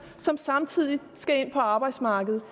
som samtidig skal ind på arbejdsmarkedet